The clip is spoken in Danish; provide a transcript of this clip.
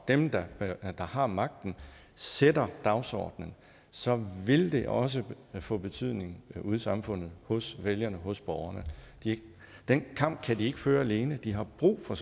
dem der har magten sætter dagsordenen så vil det også få betydning ude i samfundet hos vælgerne hos borgerne den kamp kan de ikke føre alene de har brug for